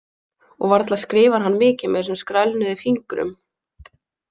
Og varla skrifar hann mikið með þessum skrælnuðu fingrum.